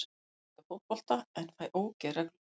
Ég elska fótbolta en fæ ógeð reglulega.